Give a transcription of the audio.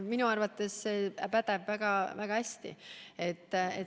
Minu arvates pädeb väga hästi.